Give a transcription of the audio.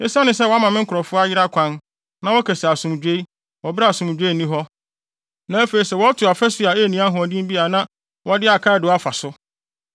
“Esiane sɛ wɔama me nkurɔfo ayera kwan, na wɔka se ‘Asomdwoe,’ wɔ bere a asomdwoe nni hɔ, na afei sɛ wɔto ɔfasu a enni ahoɔden bi a na wɔde akaadoo afa so,